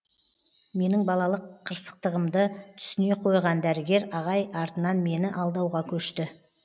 менің балалық қырсықтығымды түсіне қойған дәрігер ағай артынан мені алдауға көшті